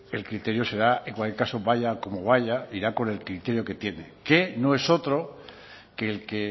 el criterio será en cualquier caso vaya como vaya irá con el criterio que tiene que no es otro que el que